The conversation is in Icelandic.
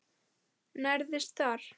Nærðist þar.